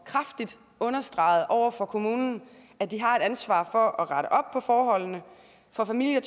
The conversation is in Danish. kraftigt understreget over for kommunen at de har et ansvar for at rette op på forholdene for familier